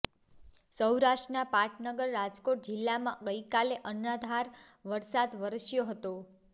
સૌરાષ્ટ્રના પાટનગર રાજકોટ જિલ્લામાં ગઈકાલે અનરાધાર વરસાદ વરસ્યો હતો